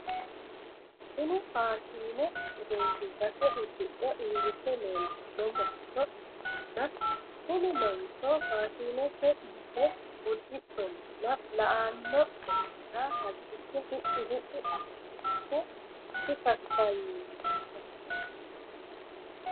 tini faashine egensiisate uddixe uurite leeltanno mancho ikkitanna tini mancho fashinete yite uddidhollana la"anno mannira halchishe hidhi hidhi asse dikakaayiisannoho.